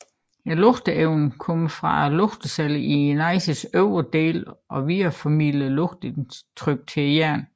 Lugtenerven kommer fra lugtecellerne i næsens øvre del og videreformidler lugtindtryk til hjernen